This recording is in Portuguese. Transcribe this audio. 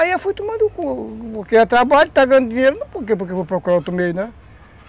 Aí eu fui tomando, porque é trabalho, está ganhando dinheiro, não porque eu vou procurar outro meio, né?